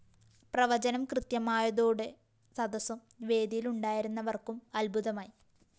പ്രവചനം കൃത്യമായതോടെ സദസും വേദിയിലുണ്ടായിരുന്നവര്‍ക്കും അത്ഭുതമായി